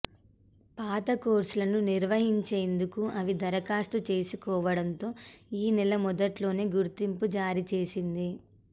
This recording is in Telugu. పాత కోర్సులను నిర్వహించేందుకే అవి దరఖాస్తు చేసుకోవడంతో ఈ నెల మొదట్లోనే గుర్తింపు జారీ చేసింది